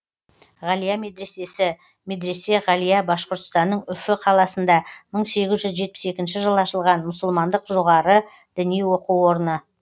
ғалия медресесі медресе ғалия башқұртстанның үфі қаласында мың сегіз жүз жетпіс екінші жылы ашылған мұсылмандық жоғары діни оқу орны